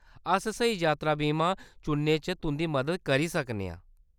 अस स्हेई यात्रा बीमा चुनने च तुंʼदी मदद करी सकने आं।